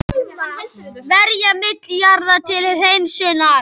Verja milljarði til hreinsunar